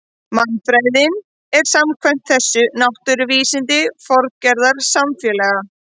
Mannfræðin er samkvæmt þessu náttúruvísindi formgerðar samfélaga.